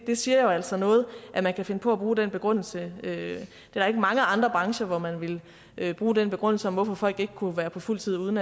det siger jo altså noget at man kan finde på at bruge den begrundelse der er ikke mange andre brancher hvor man ville bruge den begrundelse om hvorfor folk ikke kunne være på fuld tid uden